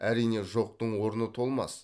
әрине жоқтың орны толмас